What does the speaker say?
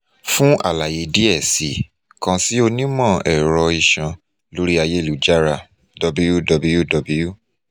fun alaye diẹ sii kan si onimọ-ẹrọ iṣan lori ayelujara www